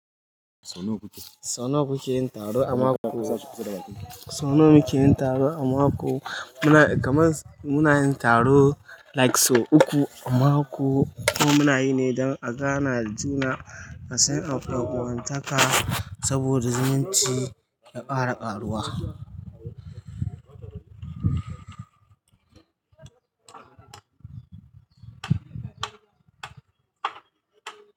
Sau nawa kuke yin taro a mako? Sau nawa muke yin taro a mako? Muna, kamar muna yin taro like sau uku a mako. Ko muna yi ne don a gane juna, a sai an ƴan uwantaka saboda zumunci ya ƙara karuwa.